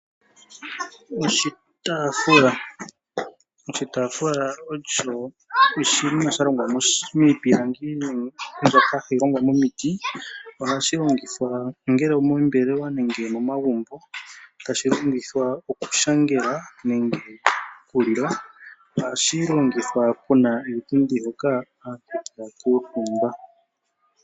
Oshitaafula. Oshitaafula osho oshinima sha longwa miipilangi mbyoka hayi longwa momiiti. Ohashi longithwa ongele omoombelewa, ongele omo magumbo hashi longithwa oku shangela nenge oku lila ohashi longithwa una oshipundi hoka wa kuutumba.